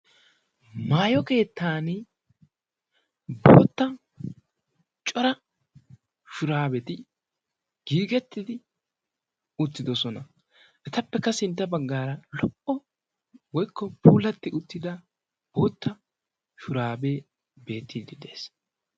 Maayo keettaani bootta cora shuraabeti giigettidi uttidosona. Etappekka sintta baggaara lo"o woykko puulatti uttida bootta shuraabee beettiiddi de'ees.